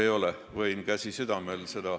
Võin seda vanduda, käsi südamel.